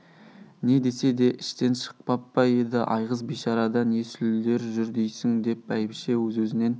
не десе де іштен шықпап па еді айғыз бишарада не сүлдер жүр дейсің деп бәйбіше өз-өзінен